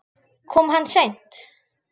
Kom hann seint?